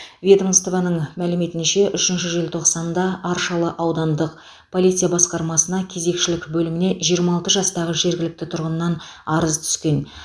ведомствоның мәліметінше үшінші желтоқсанда аршалы аудандық полиция басқармасына кезекшілік бөліміне жиырма алты жастағы жергілікті тұрғынынан арыз түскен